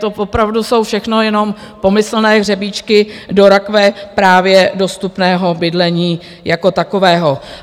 To opravdu jsou všechno jenom pomyslné hřebíčky do rakve právě dostupného bydlení jako takového.